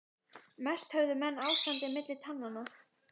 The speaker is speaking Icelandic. Mest höfðu menn ástandið milli tannanna.